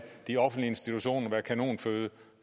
de offentlige institutioner være kanonføde